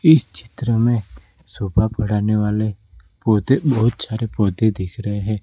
इस चित्र में शोभा बढ़ाने वाले पौधे बहुत सारे पौधे दिख रहे हैं।